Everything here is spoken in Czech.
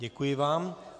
Děkuji vám.